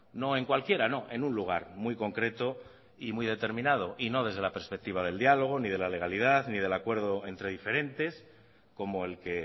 no en cualquiera no en un lugar muy concreto y muy determinado y no desde la perspectiva del diálogo ni de la legalidad ni del acuerdo entre diferentes como el que